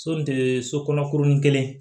so kɔnɔ kurunin kelen